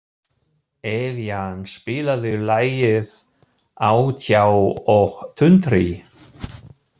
Evían, spilaðu lagið „Á tjá og tundri“.